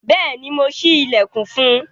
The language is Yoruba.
Bẹẹni, Mo ṣi ilẹkun fún un